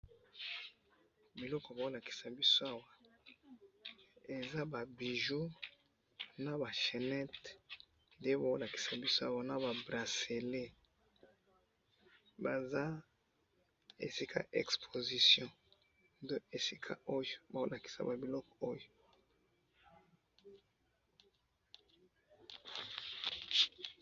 eloko bazo lakisa biso awa eza ba bijoux naba chenette naba bracelets nde bazo lakisa biso awa baza esika ya exposition nde bazolakisa biso biloko oyo